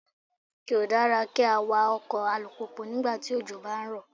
Kò dára kí á wa ọkọ̀ alùpùpù nígbà tí òjò ń bá rọ̀.